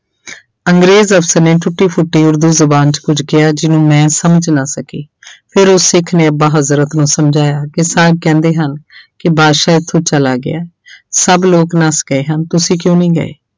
ਅੰਗਰੇਜ਼ ਅਫ਼ਸਰ ਨੇ ਟੁੱਟੀ ਫੁੱਟੀ ਉਰਦੂ ਜ਼ੁਬਾਨ 'ਚ ਕੁੱਝ ਕਿਹਾ ਜਿਹਨੂੰ ਮੈਂ ਸਮਝ ਨਾ ਸਕੀ ਫਿਰ ਉਹ ਸਿੱਖ ਨੇ ਅੱਬਾ ਹਜ਼ਰਤ ਨੂੰ ਸਮਝਾਇਆ ਕਿ ਸਾਹਬ ਕਹਿੰਦੇ ਹਨ ਕਿ ਬਾਦਸ਼ਾਹ ਇੱਥੋਂ ਚਲਾ ਗਿਆ ਸਭ ਲੋਕ ਨੱਸ ਗਏ ਹਨ ਤੁਸੀਂ ਕਿਉਂ ਨੀ ਗਏ?